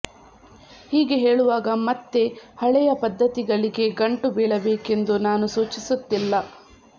ಹೀಗೆ ಹೇಳುವಾಗ ಮತ್ತೆ ಹಳೆಯ ಪದ್ಧತಿಗಳಿಗೇ ಗಂಟು ಬೀಳಬೇಕೆಂದು ನಾನು ಸೂಚಿಸುತ್ತಿಲ್ಲ